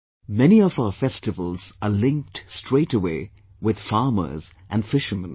Many of our festivals are linked straightaway with farmers and fishermen